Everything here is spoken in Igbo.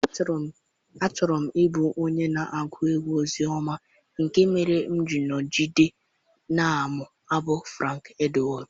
Achọrọ m ịbụ onye na-agụ egwu ozioma nke mere m ga-eji nọgide na-amụ abụ Frank Edward.